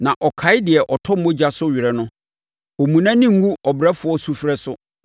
Na ɔkae deɛ ɔtɔ mogya so were no; ɔmmu nʼani ngu ɔbrɛfoɔ sufrɛ so.